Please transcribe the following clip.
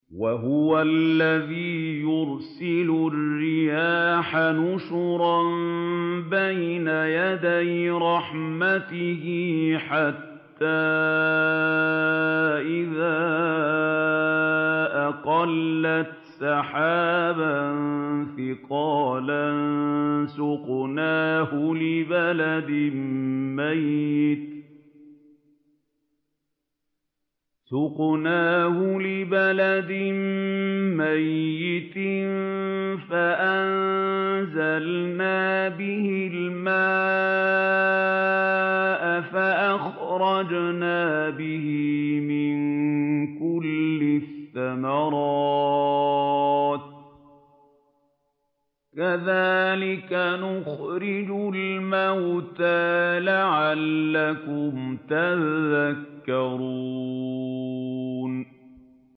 وَهُوَ الَّذِي يُرْسِلُ الرِّيَاحَ بُشْرًا بَيْنَ يَدَيْ رَحْمَتِهِ ۖ حَتَّىٰ إِذَا أَقَلَّتْ سَحَابًا ثِقَالًا سُقْنَاهُ لِبَلَدٍ مَّيِّتٍ فَأَنزَلْنَا بِهِ الْمَاءَ فَأَخْرَجْنَا بِهِ مِن كُلِّ الثَّمَرَاتِ ۚ كَذَٰلِكَ نُخْرِجُ الْمَوْتَىٰ لَعَلَّكُمْ تَذَكَّرُونَ